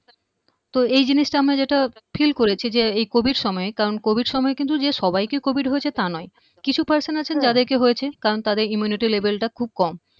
তো এই জিনিসটা আমরা যেটা feel করেছি যে এই covid সময়ে কারণ covid সময়ে কিন্তু যে সবাইকে covid হয়েছে তা নয় কিছু person আছেন যাদেরকে হয়েছে কারণ তাদের immunity level টা খুব কম